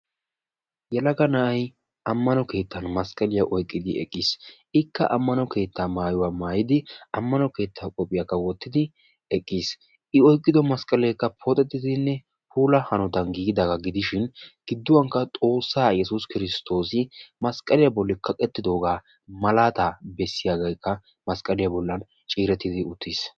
Yelaga na'ay ammano keettan masqqaliya oyqqidi eqqiis. Ikka ammnano keetta maayyuwaa maayyidi, ammano keettaa qopgiyaakka wottidi eqqiis. I oyqqido masqqalekka pooxetidinne puula hanotan giigidaaga gidishin gidduwankka Xoossaa Yessuus Kristoos masqqaliya bolli kaqqetidoooga malaata bessiyaagekka masqqaliya bollan ciirettidi uttiis.